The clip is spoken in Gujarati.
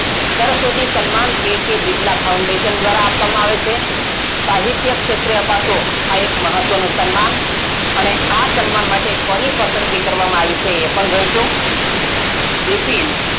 Saraswati Samman k. k. Birla foundation દ્વારાં આપવામાં આવે છે. સાહિત્ય ક્ષેત્રે અપાતો આ એક મહત્વનો સન્માન અને આ સન્માન માટે કોની પસંદગી કરવામાં આવી છે એ પણ જોઈશું બિપિન,